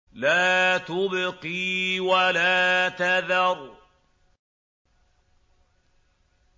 لَا تُبْقِي وَلَا تَذَرُ